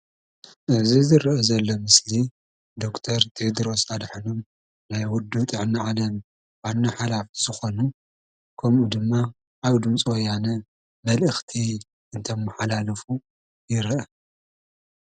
እዚ ዝረአ ዘሎ ምስሊ ዶክተር ቴድሮስ ኣድሓኖም ናይ ውድብ ጥዕና ዓለም ዋና ሓላፊ ዝኾኑ ኮምኡ ድማ ኣብ ድምፂ ወያነ መልአኽቲ እንተመሓላልፉ ይረአ ።